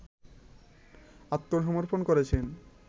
আত্মসমর্পণ করেছেন